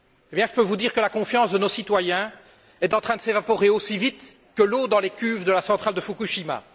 Je peux vous dire que la confiance de nos citoyens est en train de s'évaporer aussi vite que l'eau dans les cuves de la centrale de Fukushima.